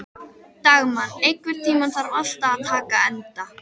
Dagmann, einhvern tímann þarf allt að taka enda.